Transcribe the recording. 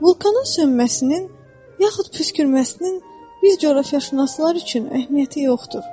Vulkanın sönməsinin yaxud püskürməsinin bir coğrafiyaşünaslar üçün əhəmiyyəti yoxdur.